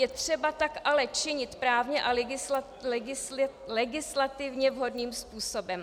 Je třeba tak ale činit právně a legislativně vhodným způsobem.